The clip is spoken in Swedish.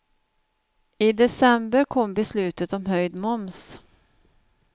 I december kom beslutet om höjd moms.